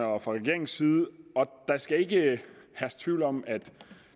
og regeringens side og der skal ikke herske tvivl om at